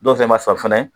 Dɔw fɛnɛ ma sɔn fɛnɛ